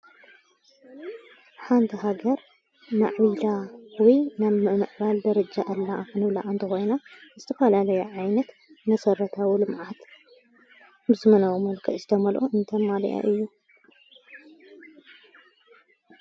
ሓንቲ ሃገር ማዕቢላዊ ናብ ምእምዕባል ደረጃ ኣለ እንብላ ኣንተ ወይና እስትፋልለይ ዓይነት ነሠረታውሉምዓት ብዝመናዊ መልከ ዝተመልኦ እንተማልኣ እዩ።